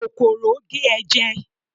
kòkòrò gé e jẹ